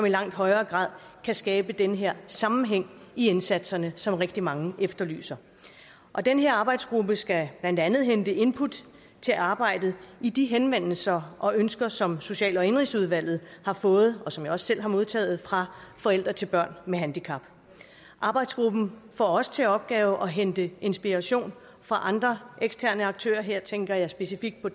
i langt højere grad kan skabe den her sammenhæng i indsatserne som rigtig mange efterlyser den her arbejdsgruppe skal blandt andet hente input til arbejdet i de henvendelser og ønsker som social og indenrigsudvalget har fået og som jeg også selv har modtaget fra forældre til børn med handicap arbejdsgruppen får også til opgave at hente inspiration fra andre eksterne aktører her tænker jeg specifikt på